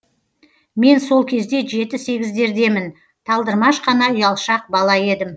мен сол кезде жеті сегіздердемін талдырмаш қана ұялшақ бала едім